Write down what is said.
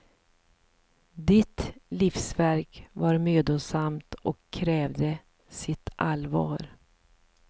Ditt livsverk var mödosamt och krävde sitt allvar.